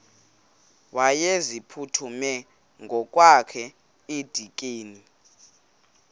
wayeziphuthume ngokwakhe edikeni